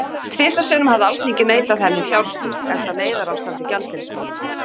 Tvisvar sinnum hafði Alþingi neitað henni um fjárstyrk, enda neyðarástand í gjaldeyrismálum.